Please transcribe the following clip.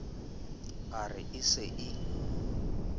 a re e se e